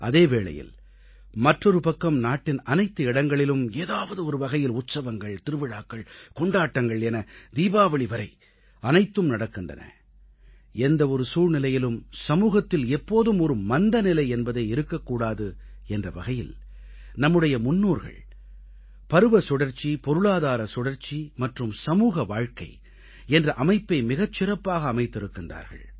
அதே வேளையில் மற்றொரு பக்கம் நாட்டின் அனைத்து இடங்களிலும் ஏதாவது ஒரு வகையில் உற்சவங்கள் திருவிழாக்கள் கொண்டாட்டங்கள் என தீபாவளி வரை அனைத்தும் நடக்கின்றன எந்த ஒரு சூழ்நிலையிலும் சமூகத்தில் எப்போதும் ஒரு மந்தநிலை என்பதே இருக்க கூடாது என்ற வகையில் நம்முடைய முன்னோர்கள் பருவ சுழற்சி பொருளாதார சுழற்சி மற்றும் சமூக வாழ்க்கை என்ற அமைப்பை மிகச் சிறப்பாக அமைத்திருக்கிறார்கள்